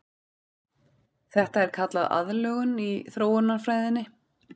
Þetta er kallað aðlögun í þróunarfræðinni.